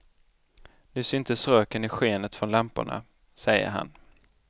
Nu syntes röken i skenet från lamporna, säger han.